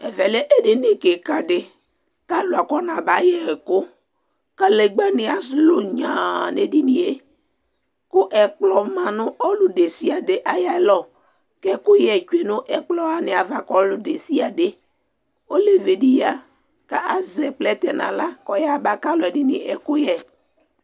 Ɛvɛ lɛ edini kika di kalu akɔnaba yɛ ɛku kalegba nu alu nyaa nu edinie ku ɛkplɔ ma nu ɔlu desiade ayalɔ ku ɛkuyɛ ni tsue nu ɛkplɔava ka ɔludesiade olevi di kazɛ plɛtɛ nu aɣla kɔ yaba kalu ɔlɔdini ɛkuyɛ